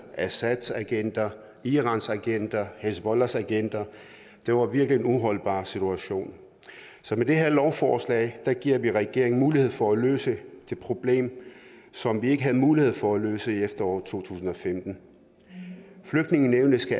assadagenter iranagenter hizbollahagenter det var virkelig en uholdbar situation med det her lovforslag giver vi regeringen mulighed for at løse det problem som vi ikke havde mulighed for at løse i efteråret to tusind og femten flygtningenævnet skal